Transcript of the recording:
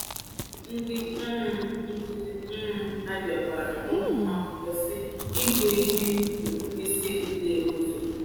Ndị um nkuzi um Abia gwara ụmụ akwụkwọ si, “Ịgụ ihe bụ mkpịsị ugodi ụzọ.”